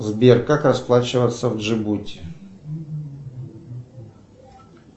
сбер как расплачиваться в джибути